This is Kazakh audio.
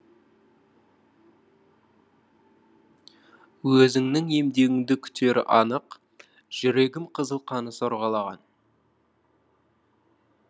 өзіңнің емдеуіңді күтері анық жүрегім қызыл қаны сорғалаған